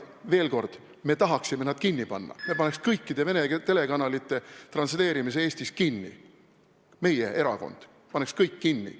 Veel kord: me tahaksime need telekanalid kinni panna, me paneks kõikide Vene telekanalite transleerimise Eestis kinni, meie erakond paneks kõik kinni.